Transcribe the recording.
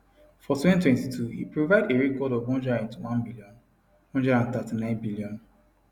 for 2022 e provide a record of 181bn 139bn